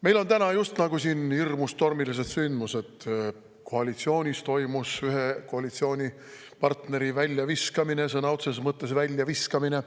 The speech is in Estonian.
Meil on siin täna just nagu hirmus tormilised sündmused: koalitsioonis toimus ühe koalitsioonipartneri väljaviskamine, sõna otseses mõttes väljaviskamine.